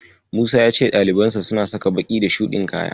Musa ya ce ɗalibansa suna saka baƙi da shuɗin kaya.